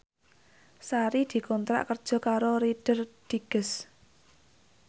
Sari dikontrak kerja karo Reader Digest